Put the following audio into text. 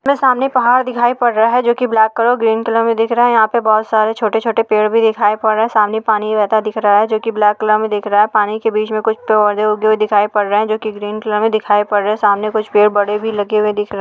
यहाँ सामने पहाड़ दिखाय पड रहा है जो की ब्लेक कलर में ग्रीन कलर में दिख रहा है यहा पे बहुत सारे छोटे छोटे पेड़ भी दिखाय पड़ सामने पानी बहता दिख रहा है जो की ब्लेक कलर में दिख रहा है पानी के बीच में कुछ पोधे उगे हुये दिखाय पड रहे है जो की ग्रीन कलर दिखाय पड रहे है सामने कुछ बड़े भी पेड़ दिखाय पड रहे हैं।